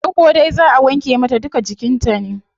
Farko dai zaa wanke mata duka jikin ta ne